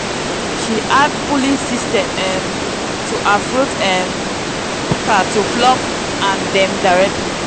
she add pulley system um to her fruit um pika to pluck and dem directly.